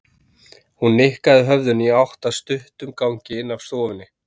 Hún nikkaði höfðinu í átt að stuttum gangi inn af stofunni.